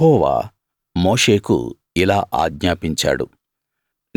యెహోవా మోషేకు ఇలా ఆజ్ఞాపించాడు